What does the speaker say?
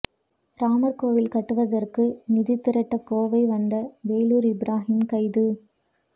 ராமா் கோயில் கட்டுவதற்கு நிதி திரட்ட கோவை வந்த வேலூா் இப்ராஹிம் கைது